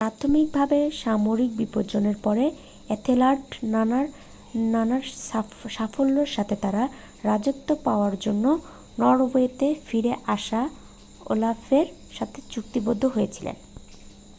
প্রাথমিক ভাবে সামরিক বিপর্যয়ের পরে এথেলার্ড নানান সাফল্যের সাথে তার রাজত্ব পাওয়ার জন্য নরওয়েতে ফিরে আসা ওলাফের সাথে চুক্তিবদ্ধ হয়েছিলেন